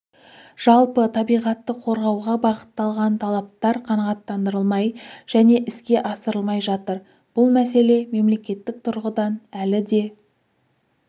жалпы табиғатты қорғауға бағытталған талаптар қанағаттандырылмай және іске асырылмай жатыр бұл мәселе мемлекеттік тұрғыдан әлі де